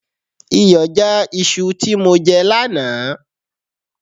Iyọ já iṣu tí mo jẹ lánàá